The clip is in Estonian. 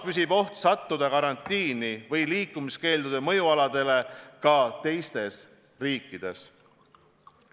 Püsib oht sattuda karantiini või liikumiskeeldude mõjualadele ka teistes riikides.